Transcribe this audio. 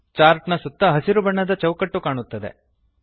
chart ನ ಸುತ್ತ ಹಸಿರು ಬಣ್ಣದ ಚೌಕಟ್ಟು ಕಾಣುತ್ತದೆ